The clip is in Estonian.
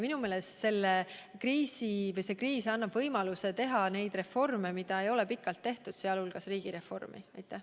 Minu meelest annab see kriis võimaluse teha ära need reformid, mida ei ole pikalt tehtud, sealhulgas riigireformi.